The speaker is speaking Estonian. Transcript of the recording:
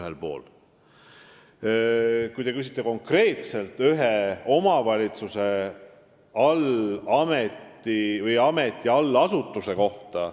Te küsisite konkreetselt ühe omavalitsuse ameti allasutuse kohta.